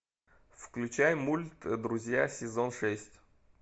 включай мульт друзья сезон шесть